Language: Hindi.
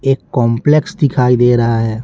एक कॉम्प्लेक्स दिखाई दे रहा है।